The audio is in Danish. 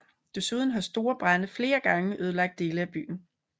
Desuden har store brande flere gange ødelagt dele af byen